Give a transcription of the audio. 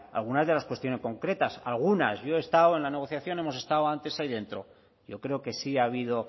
algunas de las cuestiones concretas algunas yo he estado en la negociación hemos estado antes ahí dentro yo creo que sí ha habido